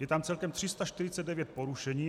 Je tam celkem 349 porušení.